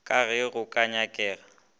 ka ge go ka nyakega